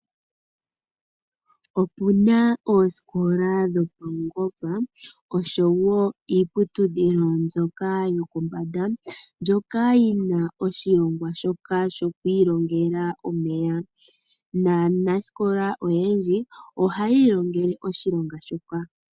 Opuna ooskola dho paungomba oshowo iipunduthilo yopombanda mbyoka yina oshilongwa shoka shokwilongela omeya, naaskola oyendji ohayi longele oshilonga shika.